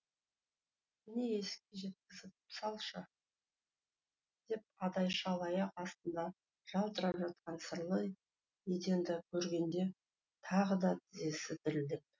мені есікке жеткізіп салшы деп адай шал аяқ астында жалтырап жатқан сырлы еденді көргенде тағы да тізесі дірілдеп